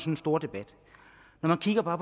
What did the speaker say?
en stor debat når man kigger på